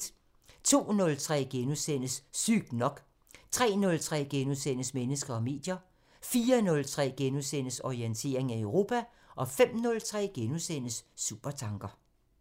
02:03: Sygt nok * 03:03: Mennesker og medier * 04:03: Orientering Europa * 05:03: Supertanker *